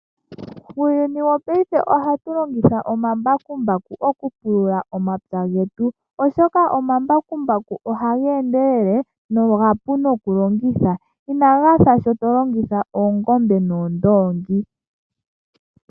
Uuyuni wopaife ohatu longitha omambakumbaku oku pulula omapya getu. Oshoka omambakumbaku ohaga endelele nomapu nokulongitha, inaga fa sho to longitha oongombe noondoongi.